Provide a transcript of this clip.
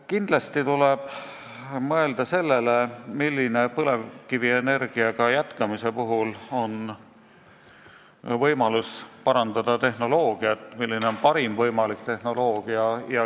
Kindlasti tuleb mõelda sellele, milline võimalus on põlevkivienergiaga jätkamise puhul parandada tehnoloogiat, milline on parim võimalik tehnoloogia.